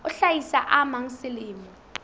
a hlahisa a mang selemo